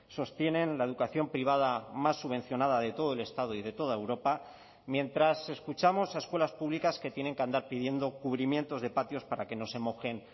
sostienen la educación privada más subvencionada de todo el estado y de toda europa mientras escuchamos a escuelas públicas que tienen que andar pidiendo cubrimientos de patios para que no se mojen